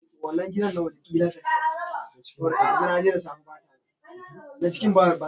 Gabriel ya yi alkawarin kawo buhu biyu na agwaluma daga gabas, domin akwai araha a can.